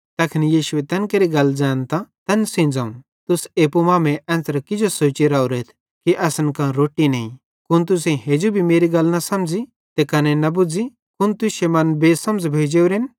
तैखन यीशुए तैन केरि गल ज़ेनतां तैन सेइं ज़ोवं तुस एप्पू मांमेइं एन्च़रां किजो सोची राओरेथ कि असन कां रोट्टी नईं कुन तुस हेजू भी मेरी गल न समझ़ी ते कने न बुझ़ी कुन तुश्शे मन बेसमझ़ भोइ जोरेन